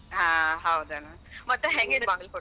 ಹಾ ಹೌದೇನ. .ಮತ್ ಹೆಂಗೈತಿ ಬಾಗಲಕೋಟಿ?